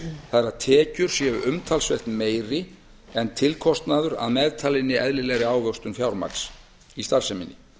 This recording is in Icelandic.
það er að tekjur séu umtalsvert meiri en tilkostnaður að meðtalinni eðlilegri ávöxtun fjármagns í starfseminni